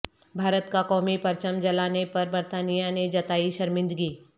بھارت کا قومی پرچم جلانے پر برطانیہ نے جتائی شرمندگی